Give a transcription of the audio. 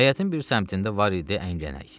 Həyətin bir səmtində var idi əğlək.